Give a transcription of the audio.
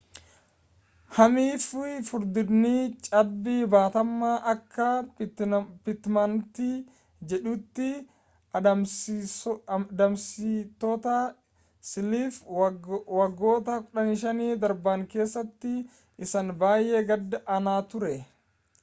hammii fi furdinni cabbii baatamaa akka pitmanti jedhutti adamsitoota siilii’f waggoota 15 darban keessatti isaa baay’ee gad aanaa ture